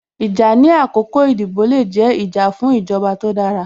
Ìjà ní àkọ́kọ́ ìdìbò le jẹ́, ìjà fún ìjọba tó dára